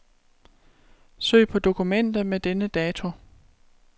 Søg på dokumenter med denne dato.